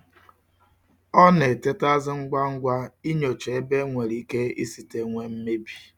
O na-etetazi ngwa ngwa inyocha ebe e nwere ike isite nwee mmebi.